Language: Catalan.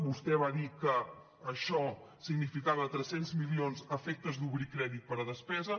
vostè va dir que això significava tres cents milions a efectes d’obrir crèdit per a despesa